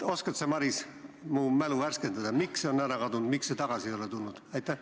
Oskad sa, Maris, mu mälu värskendada, miks see on ära kadunud, miks see tagasi ei ole tulnud?